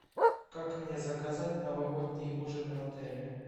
как мне заказать новогодний ужин в отеле